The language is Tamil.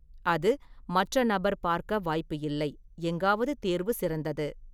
அது மற்ற நபர் பார்க்க வாய்ப்பு இல்லை எங்காவது தேர்வு சிறந்தது.